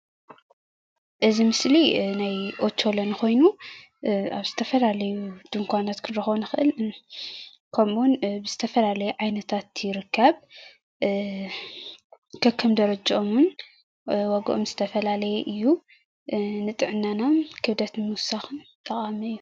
እዚ ምስሊ ናይ ኦቾሎኒ ኮይኑ ኣብ ዝተፈላለዩ ድንኳናት ክንረክቦ ንክእል ከምኡውን ብዝተፈላለዩ ዓይነታት ይርከብ። ከከም ደረጀኦም እውን ዋጋኦም ዝተፈላለዩ እዩ፤ ንጥዕናን ክብደት ንምውሳኽ ጠቃሚ እዩ።